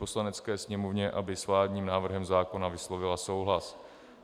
Poslanecké sněmovně, aby s vládním návrhem zákona vyslovila souhlas.